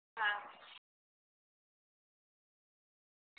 હા